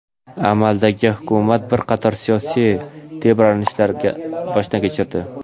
amaldagi hukumat bir qator siyosiy tebranishlarni boshdan kechirdi.